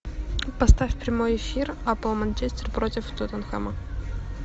поставь прямой эфир апл манчестер против тоттенхэма